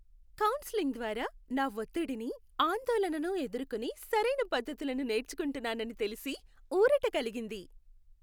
Counselling ద్వారా, నా ఒత్తిడిని, ఆందోళనను ఎదుర్కొనే సరైన పద్ధతులను నేర్చుకుంటున్నానని తెలిసి ఊరట కలిగింది.